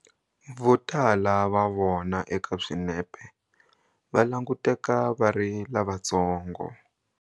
Votala va vona eka swinepe va languteka va ri lavantsongo.